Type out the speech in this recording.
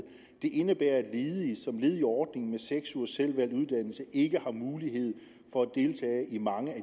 det indebærer at ledige som led i ordningen med seks ugers selvvalgt uddannelse ikke har mulighed for at deltage i mange af